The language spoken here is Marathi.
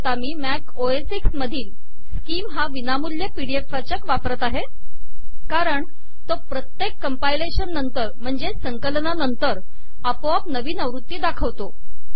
मी मॅक ओ एस एक्स मधील स्किम हा विनामूल्य पी डी एफ वाचक वापरीत आहे कारण तो प्रत्येक कंपाइलेशन नंतर आपोआप नवीन आवृत्ती दाखवितो